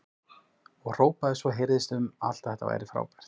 Og hrópaði svo að heyrðist um allt að þetta væri frábært!